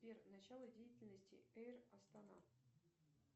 сбер начало деятельности эйр астана